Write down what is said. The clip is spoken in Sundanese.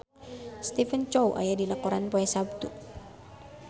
Stephen Chow aya dina koran poe Saptu